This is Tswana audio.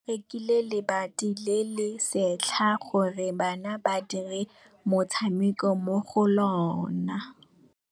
Ba rekile lebati le le setlha gore bana ba dire motshameko mo go lona.